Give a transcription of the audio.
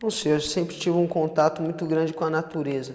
Não sei, eu sempre tive um contato muito grande com a natureza.